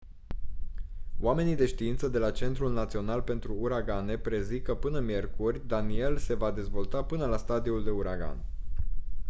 oamenii de știință de la centrul național pentru uragane prezic că până miercuri danielle se va dezvolta până la stadiul de uragan